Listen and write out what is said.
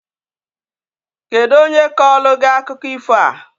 Kedu onye kọọlụ gị akụkọ ifo a?